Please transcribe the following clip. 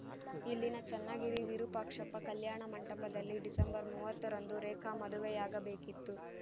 ಇಲ್ಲಿನ ಚನ್ನಗಿರಿ ವಿರುಪಾಕ್ಷಪ್ಪ ಕಲ್ಯಾಣ ಮಂಟಪದಲ್ಲಿ ಡಿಸೆಂಬರ್ ಮೂವತ್ತರಂದು ರೇಖಾ ಮದುವೆಯಾಗಬೇಕಿತ್ತು